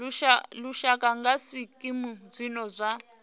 lushaka nga zwikimu zwine zwa